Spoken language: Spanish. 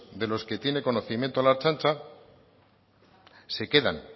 de los que tiene conocimiento la ertzaintza se quedan